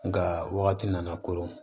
Nka wagati nana koron